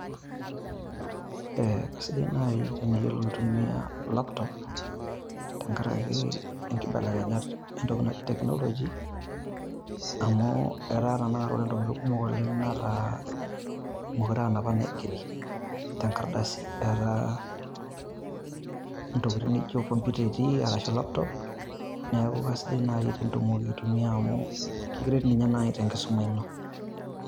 Eeh kaisidai naaji teniyiolo aitumia laptop tenkaraki enkibelekenyat e ntoki naji teknoloji. Amu etaa tenakata ore ntokitin kumok oleng netaa meekure aa napa naigeri te nkardasi etaa ntokitin naijo computer etii arashu laptop . Niaku keisidai naaji tenitumoki aitumia amu ekiret naaji te nkisuma ino.